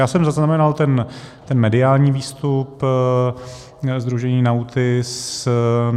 Já jsem zaznamenal ten mediální výstup sdružení NAUTIS.